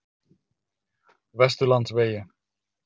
Vesturlandsvegi